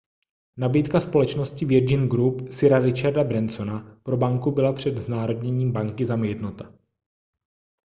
nabídka společnosti virgin group sira richarda bransona pro banku byla před znárodněním banky zamítnuta